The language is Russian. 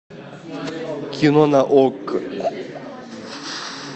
кино на окко